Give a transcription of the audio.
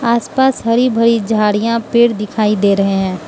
आस पास हरी भरी झाड़ियां पेड़ दिखाई दे रहे हैं।